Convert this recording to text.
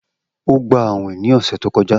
O gba awin ni ọsẹ to kọja